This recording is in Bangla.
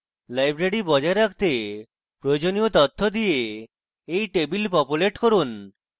library বজায় রাখতে প্রয়োজনীয় তথ্য দিয়ে এই টেবিল populate করুন